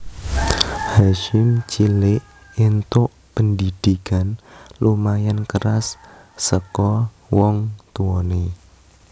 Hasyim cilik entuk pendhidhikan lumayan keras saka wong tuwane